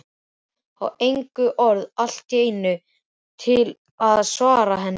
Á engin orð allt í einu til að svara henni.